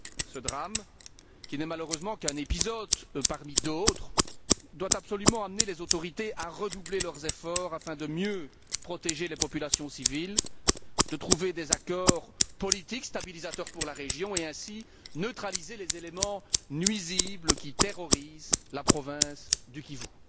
Ce drame, qui n'est malheureusement qu'un épisode parmi d'autres, doit absolument amener les autorités à redoubler d'efforts pour mieux protéger les populations civiles, trouver des accords politiques, stabilisateurs pour la région, et ainsi neutraliser les éléments nuisibles qui terrorisent la province du Kivu.